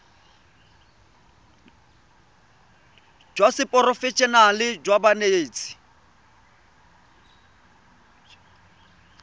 jwa seporofe enale jwa banetshi